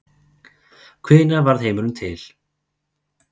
Hvenær varð heimurinn til?